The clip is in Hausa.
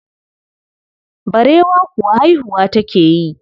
Barewa kuwa haihuwa take yi.